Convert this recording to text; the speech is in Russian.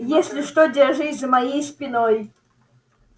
если что держись за моей спиной